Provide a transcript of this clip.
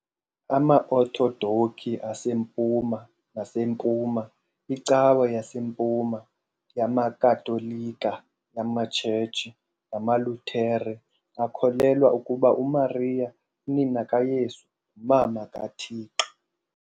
AmaOthodoki aseMpuma naseMpuma, iCawa yaseMpuma, yamaKatolika, yamaTshetshi namaLuthere akholelwa ukuba uMariya, unina kaYesu, nguMama kaThixo.